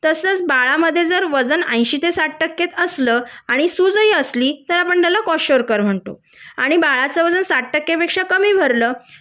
तसंच बाळमद्धे जर वजन साठ ते एंशी टक्के असल आणि सूज ही असली तर आपण त्याला कोशार्कर म्हणतो आणि बाळाचं वजन साठ टक्के पेक्षा कमी भरल